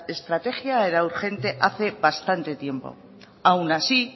estrategia era urgente hace bastante tiempo aun así